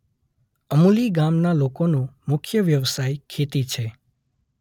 અમુલી ગામના લોકોનો મુખ્ય વ્યવસાય ખેતી છે.